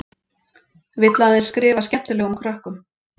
Vill aðeins skrifa skemmtilegum krökkum.